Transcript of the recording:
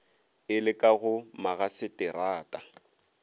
e le ka go magaseterata